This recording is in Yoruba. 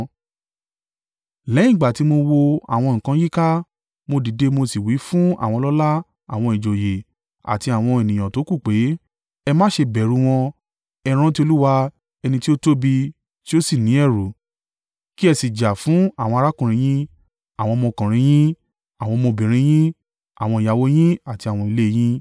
Lẹ́yìn ìgbà tí mo wo àwọn nǹkan yíká, mo dìde mo sì wí fún àwọn ọlọ́lá àwọn ìjòyè àti àwọn ènìyàn tókù pé, “Ẹ má ṣe bẹ̀rù u wọn. Ẹ rántí Olúwa, ẹni tí ó tóbi, tí ó sì ní ẹ̀rù, kí ẹ sì jà fún àwọn arákùnrin yín, àwọn ọmọkùnrin yín, àwọn ọmọbìnrin yín, àwọn ìyàwó yín àti àwọn ilé yín.”